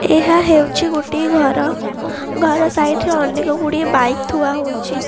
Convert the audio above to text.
ଏହା ହେଉଛି ଗୋଟିଏ ଘର ଘର ସାଇଡ଼ ରେ ଅନେକଗୁଡ଼ିଏ ବାଇକ ଥୁଆ ହୋଇଛି।